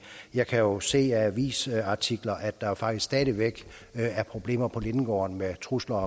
jeg kan jo se i avisartikler at der faktisk stadig væk er problemer på lindegården med trusler